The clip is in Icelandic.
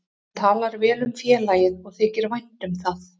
Hann talar vel um félagið og þykir vænt um það.